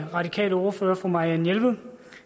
radikales ordfører fru marianne jelved